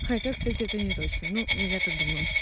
хотя кстати это неточно ну я так думаю